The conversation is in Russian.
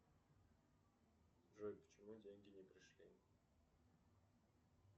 джой почему деньги не пришли